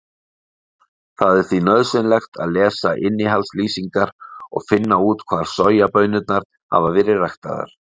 Það er því nauðsynlegt að lesa innihaldslýsingar og finna út hvar sojabaunirnar hafa verið ræktaðar.